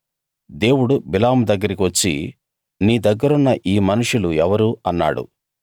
దేవుడు బిలాము దగ్గరికి వచ్చి నీ దగ్గరున్న ఈ మనుషులు ఎవరు అన్నాడు